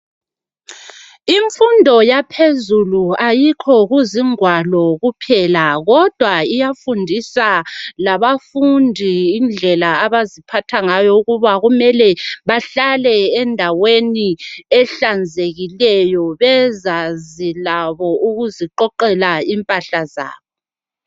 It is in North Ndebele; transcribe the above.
Imfundo yaphezulu ayikho kuzigwalo kuphela kodwa iyafundisa labafundi indlela abaziphatha ngayo ukuba kumele bahlale endaweni ehlanzekileyo bezanzi labo ukuziqoqela impahla zabo.